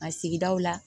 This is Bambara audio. A sigidaw la